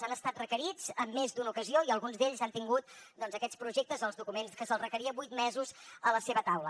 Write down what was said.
han estat requerits en més d’una ocasió i alguns d’ells han tingut aquests projectes o els documents que se’ls requeria vuit mesos a la seva taula